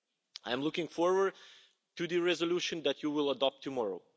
I am looking forward to the resolution that you adopt tomorrow.